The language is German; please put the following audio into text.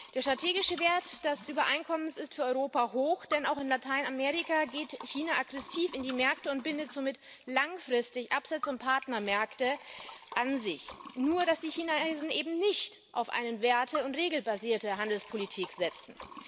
Der strategische Wert des Übereinkommens ist für Europa hoch, denn auch in Lateinamerika geht China aggressiv in die Märkte und bindet somit langfristig Absatz und Partnermärkte an sich, nur dass die Chinesen eben nicht auf eine werte und regelbasierte Handelspolitik setzen.